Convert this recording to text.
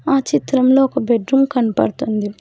ఆ చిత్రంలో ఒక బెడ్ రూమ్ కనపడ్తుంది.